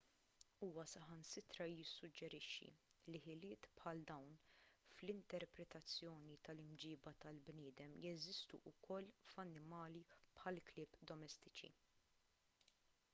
huwa saħansitra jissuġġerixxi li ħiliet bħal dawn fl-interpretazzjoni tal-imġiba tal-bniedem jeżistu wkoll f'annimali bħall-klieb domestiċi